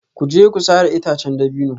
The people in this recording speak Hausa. Ku je ku sare itacen dabino